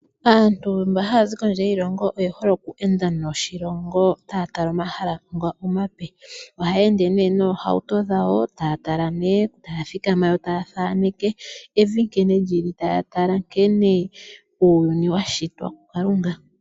Aantu mboka haya zi kondje yoshilongo, oye hole oku enda noshilongo taya tala omahala ngoka omape. Ohaya ende ne yeli miihauto yadho, taya tala ne , taya thikama yo taya thaneke evi nkenei lili, taya tala nkene uuyuni wa shitwa ku kalunga.